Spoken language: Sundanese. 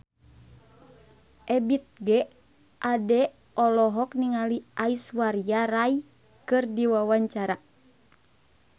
Ebith G. Ade olohok ningali Aishwarya Rai keur diwawancara